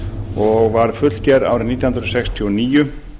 og var fullgerð árið nítján hundruð sextíu og níu